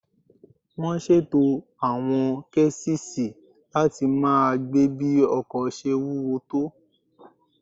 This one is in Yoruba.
Wọ́n ṣètò àwọn késìsì láti máa gbé bí ọkọ̀ ṣe wúwo tó